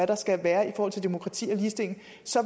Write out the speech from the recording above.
der skal være i forhold til demokrati og ligestilling